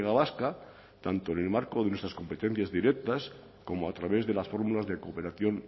vasca tanto en el marco de nuestras competencias directas como a través de las fórmulas de cooperación